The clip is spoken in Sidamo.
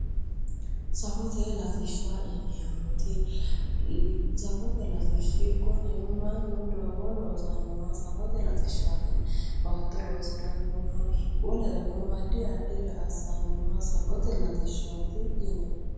safote latishsha yineemmoti ,safote latishshi konneno mannu doogo loosannowa safote latishshaati yineemmo baatto loosi'rannoha wolereno addi addire assi'rannoha safote latishshaati yinaayi